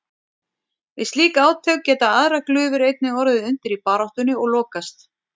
Við slík átök geta aðrar glufur einnig orðið undir í baráttunni og lokast.